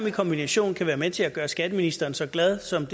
i kombination kan være med til at gøre skatteministeren så glad som